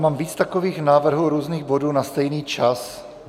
Mám víc takových návrhů různých bodů na stejný čas.